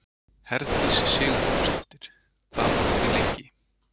Herdís Sigurgrímsdóttir: Hvað voru þið lengi?